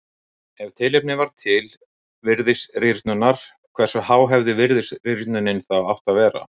Ef tilefni var til virðisrýrnunar hversu há hefði virðisrýrnunin átt að vera?